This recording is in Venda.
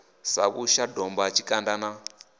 sa vhusha domba tshikanda na